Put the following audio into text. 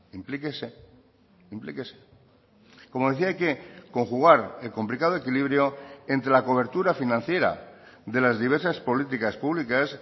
implíquese implíquese como decía que conjugar el complicado equilibrio entre la cobertura financiera de las diversas políticas públicas